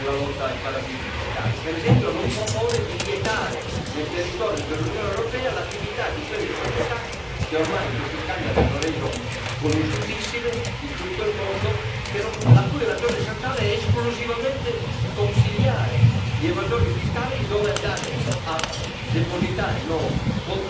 Per esempio, non propone di vietare, nel territorio dell'Unione europea, l'attività di quelle società che ormai questi scandali hanno reso conosciutissime in tutto il mondo, la cui ragione sociale è esclusivamente di consigliare gli evasori fiscali su dove andare a depositare i loro conti correnti nei paradisi fiscali.